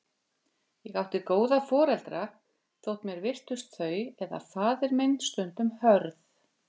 Ég átti góða foreldra, þótt mér virtist þau eða faðir minn stundum hörð.